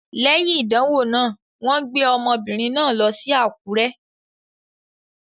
Léyìn ìdánwò náà, wọ́n gbé ọmọbìnrin náà lọ sí Àkúrẹ́.